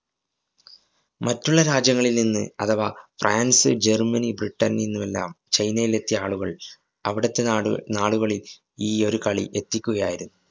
മറ്റുള്ള രാജ്യങ്ങളില്‍ നിന്ന് അഥവാ ഫ്രാന്‍സ്, ജര്‍മ്മനി, ബ്രിട്ടന്‍ നിന്നുവെല്ലാം ചൈനയില്‍ എത്തിയ ആളുകള്‍ അവിടത്തെ നാടുനാടുകളില്‍ ഈ ഒരു കളി എത്തിക്കുകയായിരുന്നു.